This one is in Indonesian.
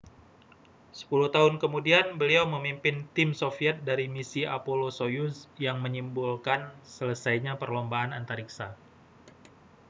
sepuluh tahun kemudian beliau memimpin tim soviet dari misi apolloâ€ soyuz yang menyimbolkan selesainya perlombaan antariksa